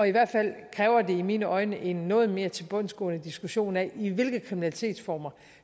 i hvert fald kræver det i mine øjne en noget mere tilbundsgående diskussion af i hvilke kriminalitetsformer